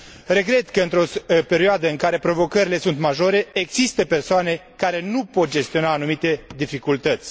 Regret că, într o perioadă în care provocările sunt majore, există persoane care nu pot gestiona anumite dificultăți.